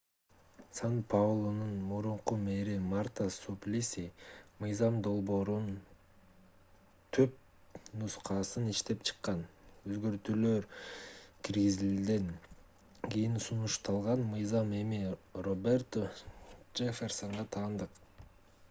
сан-паулунун мурунку мэри марта суплиси мыйзам долбоорунун түпнускасын иштеп чыккан өзгөртүүлөр киргизилгенден кийин сунушталган мыйзам эми роберто джефферсонго таандык